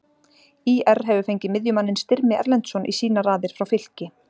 ÍR hefur fengið miðjumanninn Styrmi Erlendsson í sínar raðir frá Fylki.